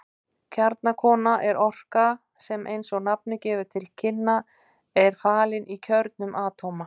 Kjarnorka er orka sem eins og nafnið gefur til kynna er falin í kjörnum atóma.